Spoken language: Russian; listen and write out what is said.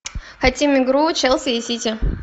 хотим игру челси и сити